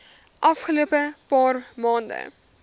afgelope paar maande